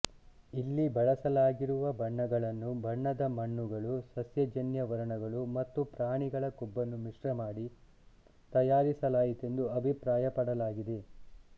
ಇಲ್ಲಿ ಬಳಲಾಗಿರುವ ಬಣ್ಣಗಳನ್ನು ಬಣ್ಣದ ಮಣ್ಣುಗಳು ಸಸ್ಯಜನ್ಯ ವರ್ಣಗಳು ಮತ್ತು ಪ್ರಾಣಿಗಳ ಕೊಬ್ಬನ್ನು ಮಿಶ್ರಮಾಡಿ ತಯಾರಿಸಲಾಯಿತೆಂದು ಅಭಿಪ್ರಾಯಪಡಲಾಗಿದೆ